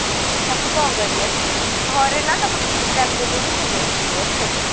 ତାକୁ କଣ କରିବା ସିଏ ବି ଘରେ ନା ତାକୁ ଦେଲେବି ସେ dress ପିନ୍ଧିବନି